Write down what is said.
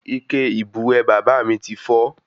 Ike ìbùwẹ̀ bàbá mí tí fọ́